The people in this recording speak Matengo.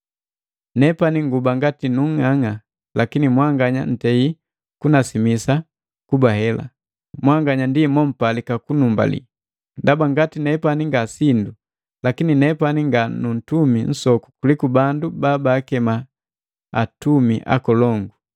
Nepani nguba ngati nung'ang'a, lakini mwanganya ntei kunasimisa kuba hela. Mwanganya ndi mompalika kunumbalii. Ndaba ngati nepani nga sindu, lakini nepani nga nu ntumi nsoku kuliku bandu bala babaakema, “atumi akolongu.”